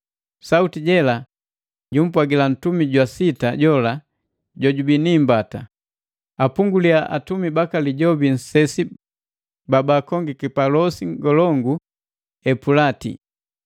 Sauti je jela jumpwagila ntumi jwa sita jola jojubii ni imbata, “Apungulia atumi baka Lijobi nsesi ba baakongiki pa losi ngolongu Epulati!”